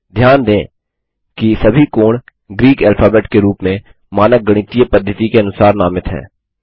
ध्यान दें कि सभी कोण ग्रीक ऐल्फाबेट के रूप में मानक गणितीय पद्धति के अनुसार नामित हैं